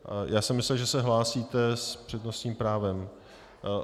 Já jsem myslel, že se hlásíte s přednostním právem.